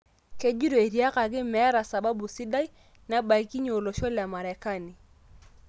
Kejito etiakaki''metaa sababu sidai''nabaikinye olosho le Marekani.